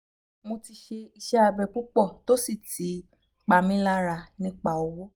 mo ti ṣe iṣẹ abẹ pupọ to si ti pa mi lara nipa owo